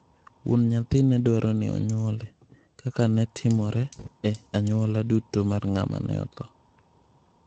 Wuon nyathi ne dwaro ni onyuole, kaka ne timore e onyuola duto mar ng'ama ne otho.